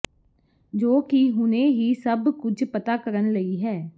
ਜੋ ਕਿ ਹੁਣੇ ਹੀ ਸਭ ਕੁਝ ਪਤਾ ਕਰਨ ਲਈ ਹੈ